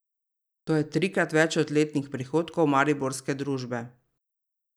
To je trikrat več od letnih prihodkov mariborske družbe.